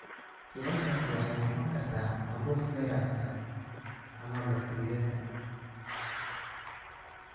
Kicintaasi waxay noqon kartaa caabuq fayras ah ama bakteeriyaka.